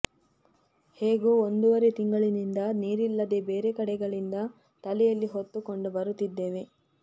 ಹೇಗೋ ಒಂದೂವರೆ ತಿಂಗಳಿನಿಂದ ನೀರಿಲ್ಲದೆ ಬೇರೆ ಕಡೆಗಳಿಂದ ತಲೆಯಲ್ಲಿ ಹೊತ್ತು ಕೊಂಡು ಬರುತ್ತಿದ್ದೇವೆ